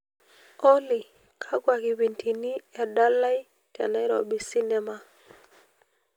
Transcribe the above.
olly kakwa kipindini edalai te nairobi cinema